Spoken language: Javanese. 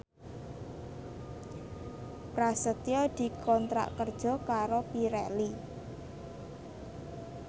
Prasetyo dikontrak kerja karo Pirelli